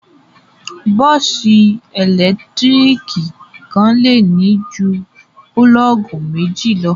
Bọ́ọ́sì ẹ̀lẹ́tíríkì kan le ní ju pulọ́ọ́gì méjì lọ.